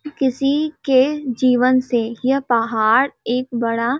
किसी के जीवन से यह पहाड़ एक बड़ा--